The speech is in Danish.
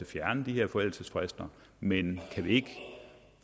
fjerne de her forældelsesfrister men kan vi ikke